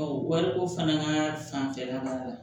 wariko fana ka fanfɛla la